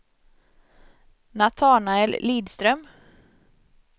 Natanael Lidström